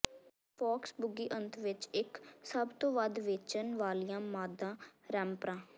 Fox Boogie ਅੰਤ ਵਿੱਚ ਇੱਕ ਸਭ ਤੋਂ ਵੱਧ ਵੇਚਣ ਵਾਲੀਆਂ ਮਾਦਾ ਰੈਪਰਾਂ